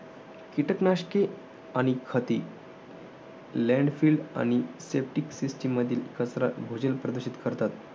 कीटक नाशके आणि खते. landfill आणि septic system मधील कचरा भूजल प्रदूषित करतात.